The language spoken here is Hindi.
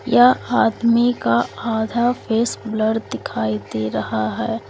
यह आदमी का आधा फेस ब्लर दिखाई दे रहा है।